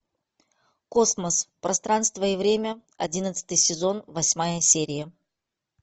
космос пространство и время одиннадцатый сезон восьмая серия